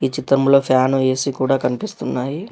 చిత్రంలో fan AC కూడా కనిపిస్తున్నాయి.